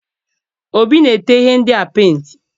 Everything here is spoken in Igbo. Obi na-ete ihe ndịa penti.